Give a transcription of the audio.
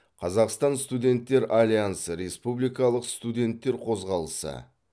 қазақстан студенттер альянсы республикалық студенттер қозғалысы